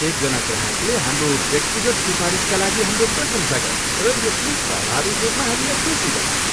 एकजना ग्राहकले हाम्रो व्यक्तिगत सिफारिसका लागि हाम्रो प्रशंसा गरे र यसले स्वाभाविक रूपमा हामीलाई खुसी बनायो।